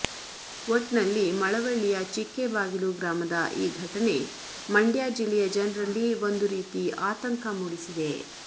ಒಟ್ನಲ್ಲಿ ಮಳವಳ್ಳಿಯ ಚಿಕ್ಕೆಬಾಗಿಲು ಗ್ರಾಮದ ಈ ಘಟನೆ ಮಂಡ್ಯ ಜಿಲ್ಲೆಯ ಜನ್ರಲ್ಲಿ ಒಂದು ರೀತಿ ಆತಂಕ ಮೂಡಿಸಿದೆ